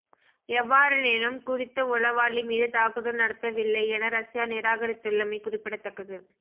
எவ்வாறெனினும் குறித்த உளவாளி மீது தாக்குதல் நடத்தவில்லை என ரஸ்யா நிராகரித்துள்ளமை குறிப்பிடத்தக்கது